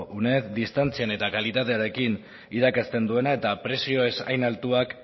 uned distantzian eta kalitatearekin irakasten duena eta prezio ez hain altuak